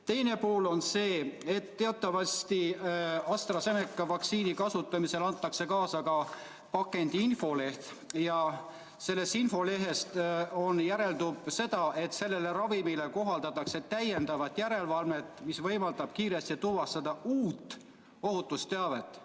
Teine pool on see, et teatavasti antakse AstraZeneca vaktsiini kasutamisel kaasa ka pakendi infoleht ja sellest infolehest võib lugeda, et sellele ravimile kohaldatakse täiendavat järelevalvet, mis võimaldab kiiresti tuvastada uut ohutusteavet.